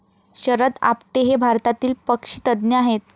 शरद आपटे हे भारतातील पक्षीतज्ज्ञ आहेत.